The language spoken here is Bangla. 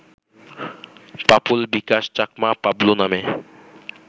পাপুল বিকাশ চাকমা পাবলু নামে